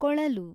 ಕೊಳಲು